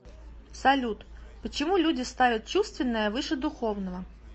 салют почему люди ставят чувственное выше духовного